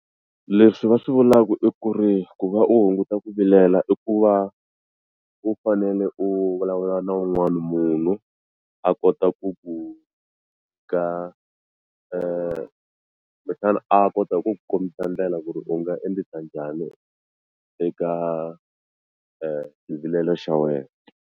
Leswi va swi vulaku i ku ri ku va u hunguta ku vilela i ku va u fanele u vulavula na wun'wani munhu a kota ku ku ka kumbexani a kota ku ku kombisa ndlela ku ri u nga endlisa njhani eka xivilelo xa wena.